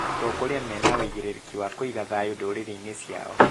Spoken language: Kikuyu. Atongoria mena ũigĩgĩrĩki wa kũiga thayũ ndũrĩrĩ-inĩ ciao